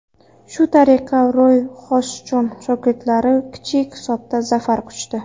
Shu tariqa, Roy Xojson shogirdlari kichik hisobda zafar quchdi.